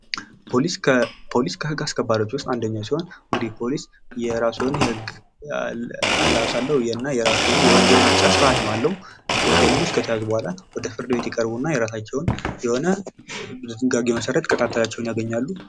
ፖሊስ ከህግ አስከባሪዎች ውስጥ አንደኛው ሲሆን እንግዲህ ፖሊስ የራሱ የሆነ አለባበስ አለው እና የራሱ የሆነ የወንጀል መቅጫ ስርዓት አለው። በዚህም ሰዎች ወደ ፍርድ ቤት ይቀርቡና ቅጣት ያገኛሉ።